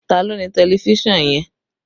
Ta ló ní tẹlifísàn yẹn?